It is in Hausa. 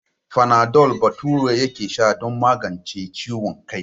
Fanadol Bature yake sha don magance ciwon kai.